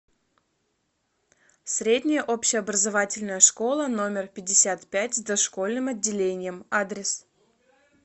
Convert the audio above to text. средняя общеобразовательная школа номер пятьдесят пять с дошкольным отделением адрес